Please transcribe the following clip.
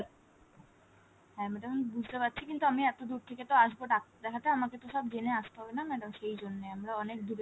হ্যাঁ madam আমি বুজতে পারছি কিন্তু আমি এত দুর থেকে আসবো ডাক্তার দেখতে আমাকে তো সব জেনে আসতে হবে না madam সেই জন্য আমরা অনেক দূরে